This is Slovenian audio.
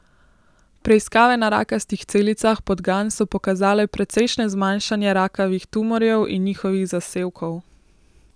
Preiskave na rakastih celicah podgan so pokazale precejšnje zmanjšanje rakavih tumorjev in njihovih zasevkov.